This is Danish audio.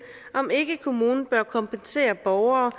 om ikke kommunen bør kompensere borgere